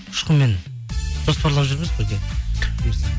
ұшқынмен жоспарлап жүрміз бірге